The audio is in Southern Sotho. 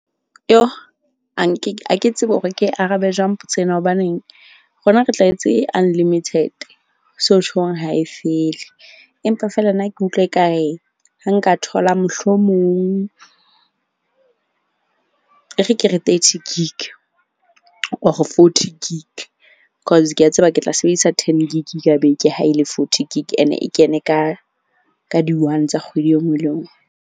Ha nke ha ke tsebe hore ke arabe jwang potso ena hobaneng rona re tlwaetse unlimited. So tjhong ha e fele, empa feela nna ke utlwa ekare ha nka thola mohlomong, e re ke re thirty gig or forty gig. Cause ke a tseba ke tla sebedisa ten gig ka beke ha e le forty gig. Ene e kene ka di one tsa kgwedi e nngwe le e nngwe.